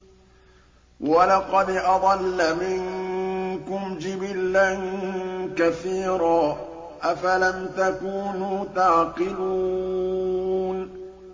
وَلَقَدْ أَضَلَّ مِنكُمْ جِبِلًّا كَثِيرًا ۖ أَفَلَمْ تَكُونُوا تَعْقِلُونَ